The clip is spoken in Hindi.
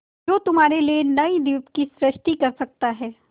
जो तुम्हारे लिए नए द्वीप की सृष्टि कर सकता है